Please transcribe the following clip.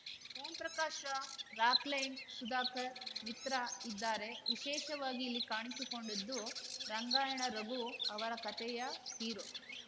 ಓಂ ಪ್ರಕಾಶ್‌ ರಾವ್‌ ರಾಕ್‌ಲೈನ್‌ ಸುಧಾಕರ್‌ ಮಿತ್ರ ಇದ್ದಾರೆ ವಿಶೇಷವಾಗಿ ಇಲ್ಲಿ ಕಾಣಿಸಿಕೊಂಡಿದ್ದು ರಂಗಾಯಣ ರಘು ಅವರ ಕತೆಯ ಹೀರೋ